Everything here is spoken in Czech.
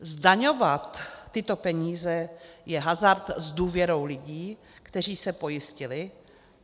Zdaňovat tyto peníze je hazard s důvěrou lidí, kteří se pojistili.